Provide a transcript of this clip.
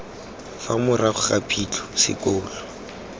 fa morago ga phitlho sekolo